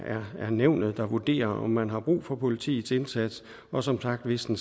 nævnet der vurderer om man har brug for politiets indsats og som sagt hvis den